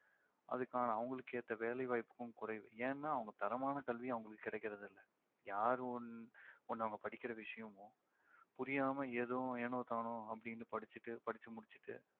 அதுக்கான அவங்களுக்கேத்த வேலைவாய்ப்பும் குறைவு. ஏன்னா அவங்க தரமான கல்வியும் அவங்களுக்கு கிடைக்கறதில்ல. யாரும் ஒண்~ ஒண்ணு அவங்க படிக்கிற விஷயமோ புரியாம ஏதும் ஏனோ தானோ அப்படின்னு படிச்சிட்டு படிச்சு முடிச்சுட்டு